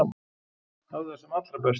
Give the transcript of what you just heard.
Hafðu það sem allra best.